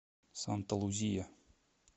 санта лузия